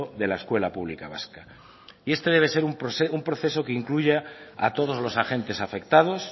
de la escuela pública vasca y este debe ser un proceso que incluya a todos los agentes afectados